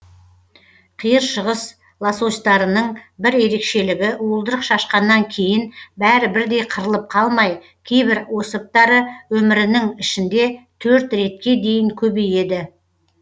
қиыр шығыс лососьтарының бір ерекшелігі уылдырық шашқаннан кейін бәрі бірдей қырылып қалмай кейбір особьтары өмірінің ішінде төрт ретке дейін көбейеді